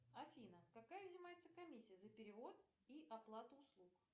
афина какая взимается комиссия за перевод и оплату услуг